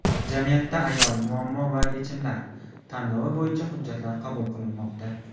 "Jamiyatda ayol: muammo va yechimlar" tanlovi bo‘yicha hujjatlar qabul qilinmoqda.